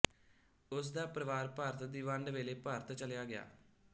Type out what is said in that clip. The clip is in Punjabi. ਉਸ ਦਾ ਪਰਿਵਾਰ ਭਾਰਤ ਦੀ ਵੰਡ ਵੇਲੇ ਭਾਰਤ ਚਲਿਆ ਗਿਆ